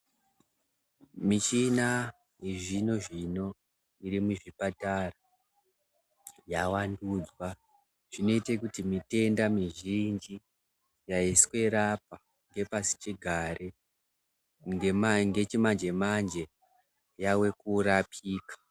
Michina yezvino-zvino iri muzvipatara yavandudzwa zvinoite kuti mitenda mizhinji yaisirapa yepasichigare ngechimanje manje yave kurapika.